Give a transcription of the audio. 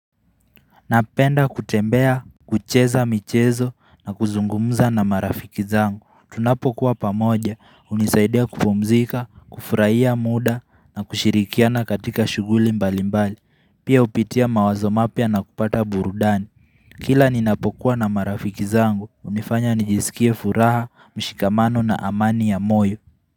Napenda kutembea, kucheza michezo na kuzungumza na marafiki zangu Tunapokuwa pamoja, unisaidia kufomzika, kufuraiya muda na kushirikiana katika shuguli mbali mbali Pia upitia mawazo mapya na kupata burudani Kila ninapokuwa na marafiki zangu, unifanya nijisikie furaha, mshikamano na amani ya moyo.